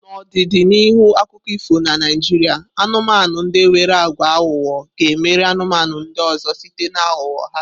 N'ọdịdị n'ihu akụkọ ifo na Naijiria, anumanu ndi nwere agwa aghụghọ ga na-emeri anụmanụ ndị ọzọ site na ahugho ya